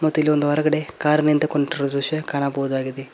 ಮತ್ತ ಇಲ್ಲಿ ಒಂದು ಹೊರಗಡೆ ಕಾರ್ ನಿಂತುಕೊಂಡಿರೊ ದೃಶ್ಯ ಕಾಣಬಹುದಾಗಿದೆ.